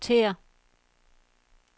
rotér